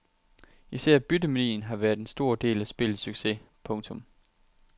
Især byttemanien har været en stor del af spillets succes. punktum